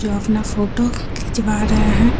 जो अपना फोटो खिचवा रहा है।